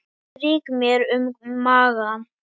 Strýk mér um magann.